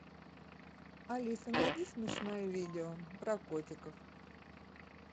алиса найди смешное видео про котиков